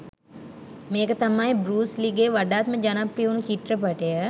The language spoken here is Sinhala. මේක තමයි බෲස් ලීගෙ වඩාත්ම ජනප්‍රිය වුණු චිත්‍රපටිය.